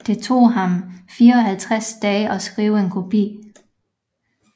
Det tog ham 54 dage at skrive en kopi